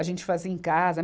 A gente fazia em casa.